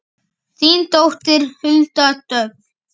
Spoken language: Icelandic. Þín dóttir Hulda Dögg.